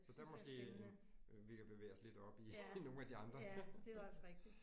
Så der er måske en vi kan bevæge os lidt op i nogle af de andre